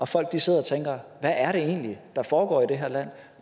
folk sidder og tænker hvad er det egentlig der foregår i det her land